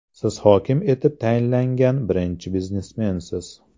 Siz hokim etib tayinlangan birinchi biznesmensiz.